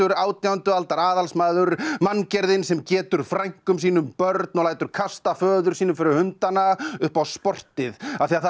átjándu aldar aðalsmaður manngerðin sem getur frænkum sínum börn og lætur kasta föður sínum fyrir hundana upp á sportið af því það er